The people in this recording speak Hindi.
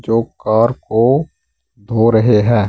जो कार को धो रहे हैं।